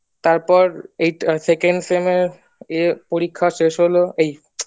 তারপর এই second sem এ পরীক্ষা শেষ হলো এই